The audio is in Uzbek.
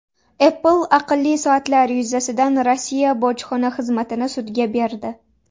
Apple aqlli soatlar yuzasidan Rossiya bojxona xizmatini sudga berdi.